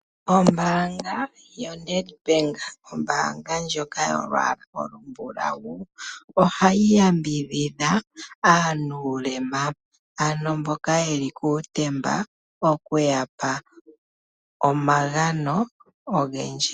Ombaanga yoNedbank ombaanga ndjoka yolwaala olumbulawu ohayi yambidhidha aanuulema, ano mbyoka ye li kuutemba, oku ya pa omagano ogendji.